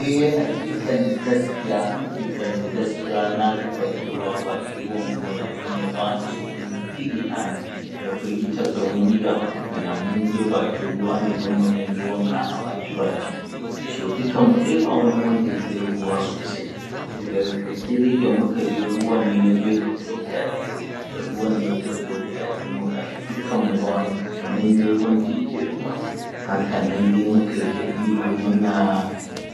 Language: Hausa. Ehh hakikanin gaskiya hakikanin gaskiya na je bakin ruwa, a bakin ruwan kuma da abin ya bani tsoro ya firgita ni, ya firgitar da mu ni da abokaina, mun je bakin ruwa don mu ɗan yi wanka a baki-bakin So dukan mu dai ba wanda ya iya ruwa sosai so daga ƙarshe dai, sai da muka je ruwan nan ya tafi da guda ɗayanmu. Da ruwan nan ya tafi da guda ɗayanmu ga shi dukanmu ba kata mai-mai wanda ya iya ruwa, haka nan dai mu kai ta ihu muna